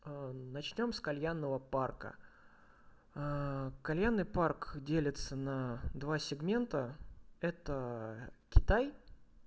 начнём с кальянного парка кальянный парк делится на два сегмента это китай